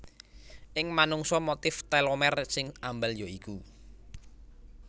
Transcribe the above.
Ing manungsa motif telomer sing ambal ya iku